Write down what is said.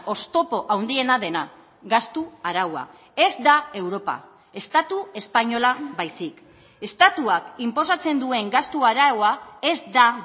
oztopo handiena dena gastu araua ez da europa estatu espainola baizik estatuak inposatzen duen gastu araua ez da